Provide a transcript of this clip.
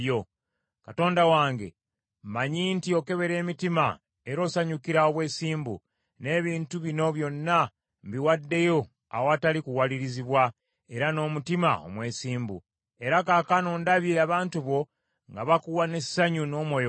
Katonda wange, mmanyi nti okebera emitima, era osanyukira obwesimbu, n’ebintu bino byonna mbiwaddeyo awatali kuwalirizibwa, era n’omutima omwesimbu. Era kaakano ndabye abantu bo nga bakuwa n’essanyu n’omwoyo gumu.